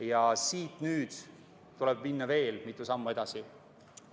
Ja siit tuleb nüüd minna veel mitu sammu edasi.